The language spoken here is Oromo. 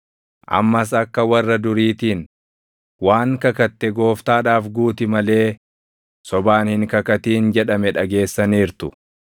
“Ammas akka warra duriitiin, ‘Waan kakatte Gooftaadhaaf guuti malee sobaan hin kakatin’ + 5:33 \+xt Lew 19:12; Lak 30:2\+xt* jedhame dhageessaniirtu.